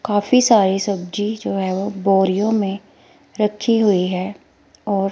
काफी सारी सब्जी जो है बोरियो में रखी हुई है और--